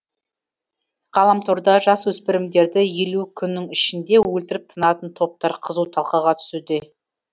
ғаламторда жасөспірімдерді елу күннің ішінде өлтіріп тынатын топтар қызу талқыға түсуде